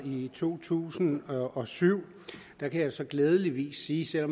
i to tusind og syv der kan jeg så glædeligvis sige selv